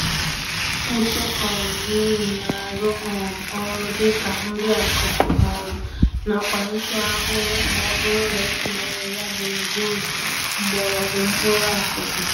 Ntụ um Neem na-arụ um ọrụ dịka nri-akụkụ um nakwa nchụ-ahụhụ m'ọbụrụ na etinyere ya gburugburu mgbọrọgwụ mkpụrụ akụkụ